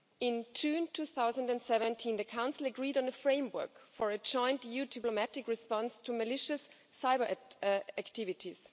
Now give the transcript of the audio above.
In June 2017, the Council agreed on a framework for a joint EU diplomatic response to malicious cyber activities.